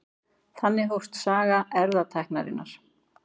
Þannig hófst saga erfðatækninnar.